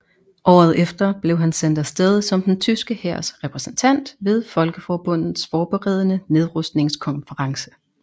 Året efter blev han sendt afsted som den tyske hærs repræsentant ved Folkeforbundets forberedende nedrustningskonference